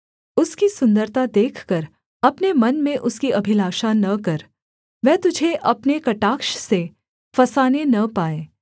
उसकी सुन्दरता देखकर अपने मन में उसकी अभिलाषा न कर वह तुझे अपने कटाक्ष से फँसाने न पाए